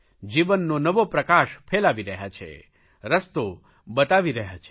જીવવાનો નવો પ્રકાશ ફેલાવી રહ્યા છે રસ્તો બતાવી રહ્યા છે